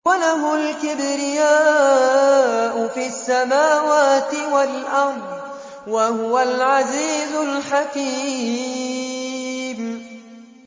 وَلَهُ الْكِبْرِيَاءُ فِي السَّمَاوَاتِ وَالْأَرْضِ ۖ وَهُوَ الْعَزِيزُ الْحَكِيمُ